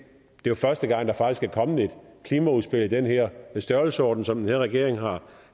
det er jo første gang der faktisk er kommet et klimaudspil af den her størrelsesorden som den her regering har